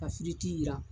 Ka jiran